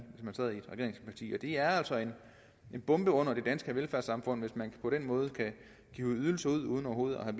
et regeringsparti det er altså en bombe under det danske velfærdssamfund hvis man på den måde kan hive ydelser ud uden overhovedet at